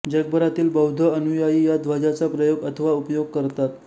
जगभरातील बौद्ध अनुयायी या ध्वजाचा प्रयोग अथवा उपयोग करतात